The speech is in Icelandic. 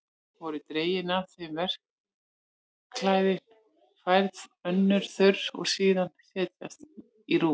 Voru dregin af þeim vosklæðin, færð önnur þurr og síðan látin setjast í rúm.